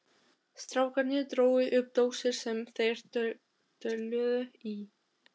Strákarnir drógu upp dósir sem þeir töluðu í.